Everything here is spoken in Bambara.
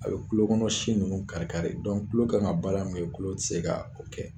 A bɛ kulo kɔnɔ si ninnu kari kari kulo kan ka baara min kɛ kulu tɛ se k'a o kɛ.